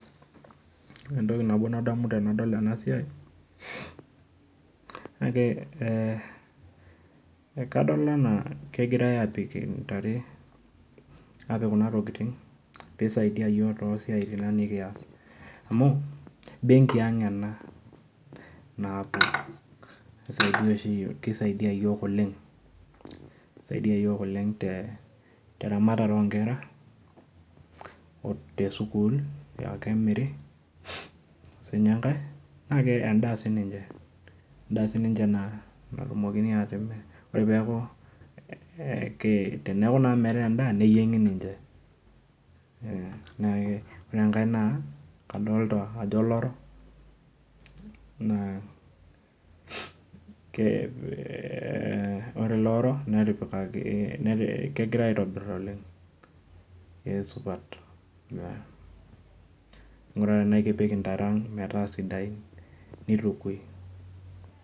Entokibnabo nadamu tanadol enasiai nagira ee kadol ena kegirai apik ntare na kisaidia yiok tosiatin nikiata amu benki aang ena nabo na keisaidia yiok oleng te ramatare onkera tesukul aa kemiri, ore si enkae na endaa sininche natumokiniatimir teneaku naa meetae endaa neyiengi ninche ,ore enkae naa kadolta ajo olorok na ore ele olorok kegirai aitobir oleng na kesupat, ore tanaa kegirai apik ntare metaa sidain nitukui.